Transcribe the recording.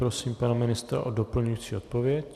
Prosím pana ministra o doplňující odpověď.